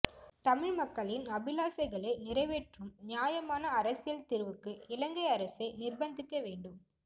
தமிழ் மக்களின் அபிலாசைகளை நிறைவேற்றும் நியாயமான அரசியல் தீர்வுக்கு இலங்கை அரசை நிர்பந்திக்க வேண்டும்